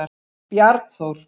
Bjarnþór